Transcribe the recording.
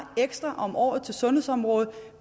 ekstra om året til sundhedsområdet